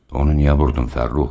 Onu niyə vurdun Fəxrrux?